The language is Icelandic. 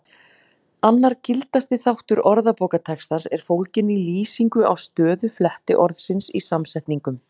Annar gildasti þáttur orðabókartextans er fólginn í lýsingu á stöðu flettiorðsins í samsetningum.